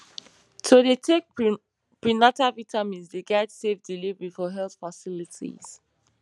to dey take prenatal vitamins dey guide safe delivery for health facilities